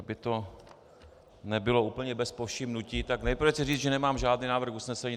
Aby to nebylo úplně bez povšimnutí, tak nejprve chci říct, že nemám žádný návrh usnesení.